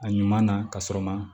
A ɲuman na ka sɔrɔ ma